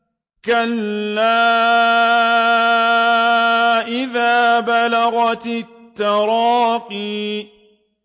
كَلَّا إِذَا بَلَغَتِ التَّرَاقِيَ